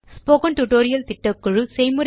spoken tutorial திட்டக்குழு